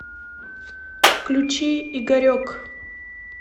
включи игорек